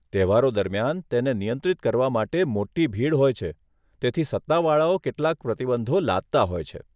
તહેવારો દરમિયાન, તેને નિયંત્રિત કરવા માટે મોટી ભીડ હોય છે, તેથી સત્તાવાળાઓ કેટલાક પ્રતિબંધો લાદતા હોય છે.